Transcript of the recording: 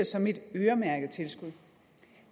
som et øremærket tilskud